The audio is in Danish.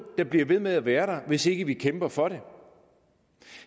der bliver ved med at være der hvis ikke vi kæmper for det